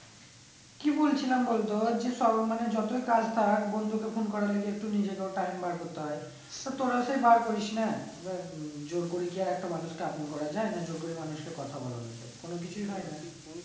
কি বলছিলাম বল তো যে মানে যতই কাজ থাক বন্ধুকে phone করা একটু নিজেরও time বার করতে হয়ে তো তোরা সেই বার করিস না জোর করে কি আর একটা মানুষকে আপন করা যায় না জোর করে মানুষকে কথা বলানো যায় কোনো কিছুই হয়ে না